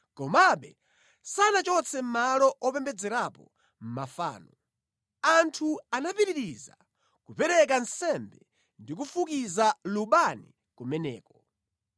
Komabe sanachotse malo opembedzerapo mafano. Anthu anapitiriza kupereka nsembe ndi kufukiza lubani kumeneko.